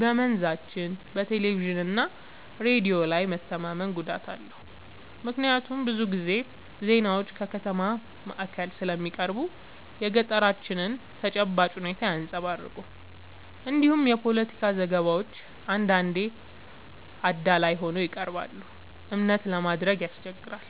በመንዛችን በቴሌቪዥንና ሬዲዮ ላይ መተማመን ጉዳት አለው፤ ምክንያቱም ብዙ ጊዜ ዜናዎች ከከተማ ማዕከል ስለሚቀርቡ የገጠራችንን ተጨባጭ ሁኔታ አያንጸባርቁም። እንዲሁም የፖለቲካ ዘገባዎች አንዳንዴ አዳላይ ሆነው ይቀርባሉ፤ እምነት ለማድረግ ያስቸግራል።